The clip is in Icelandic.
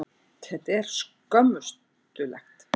Þetta er skömmustulegt.